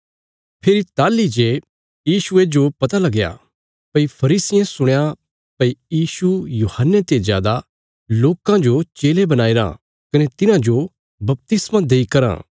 फेरी ताहली जे यीशुये जो पता लगया भई फरीसियें सुणया भई यीशु यूहन्ने ते जादा लोकां जो चेले बणाईराँ कने तिन्हांजो बपतिस्मा देई कराँ